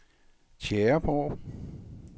Tjæreborg